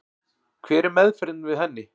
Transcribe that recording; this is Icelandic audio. Hver er meðferðin við henni?